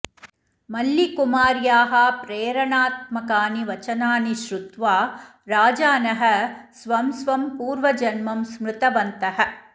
मल्लिकुमार्याः प्रेरणात्मकानि वचनानि श्रुत्वा राजानः स्वं स्वं पूर्वजन्म स्मृतवन्तः